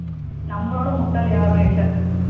நம்மளோட முட்டாள் யாரும் இல்லை நம்மள விட முட்டாள் யாரும் இல்ல